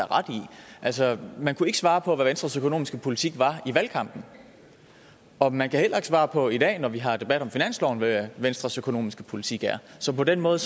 altså man kunne ikke svare på hvad venstres økonomiske politik var i valgkampen og man kan heller ikke svare på i dag når vi har debat om finansloven hvad venstres økonomiske politik er så på den måde